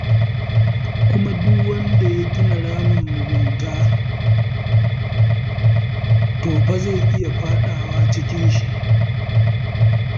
Kuma duk wanda ya gina ramin mugunta, to fa zai iya faɗawa ciki.